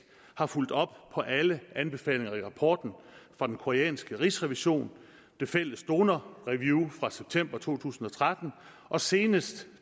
har fulgt op på alle anbefalinger i rapporten fra den koreanske rigsrevision det fælles donorreview fra september to tusind og tretten og senest